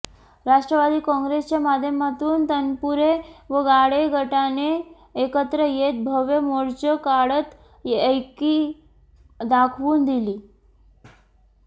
राष्ट्रवादी काँगे्रसच्या माध्यमातून तनपुरे व गाडे गटाने एकत्र येत भव्य मोर्चा काढत एकी दाखवून दिली